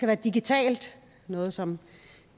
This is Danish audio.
være digitalt noget som